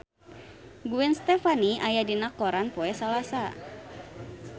Gwen Stefani aya dina koran poe Salasa